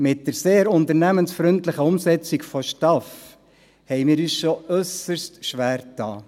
Mit der sehr unternehmensfreundlichen Umsetzung der STAF haben wir uns schon äusserst schwergetan.